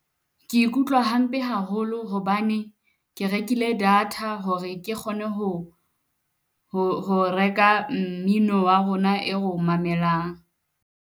Ke ikutlwa hampe haholo hobane ke rekile data, hore ke kgone ho ho reka mmino wa rona e ro o mamelang.